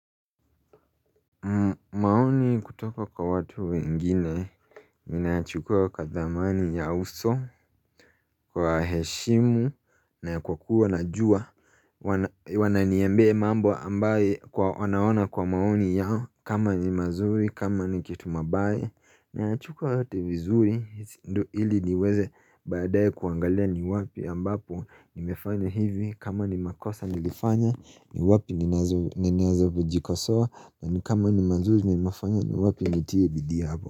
Maoni kutoka kwa watu wengine, ninayachukua kwa thamani ya uso, kwa heshimu, na kwa kuwa najuwa, wananiaembia mambo ambaye kwa wanaona kwa maoni yao, kama ni mazuri, kama ni kitu mabaye, nayachukua yote vizuri, ndo ili niweze baadaye kuangalia ni wapi ambapo nimefanya hivi, kama ni makosa nilifanya ni wapi ninazo kujikosoa na ni kama ni mazuri nimafanya ni wapi nitiye bidii habo.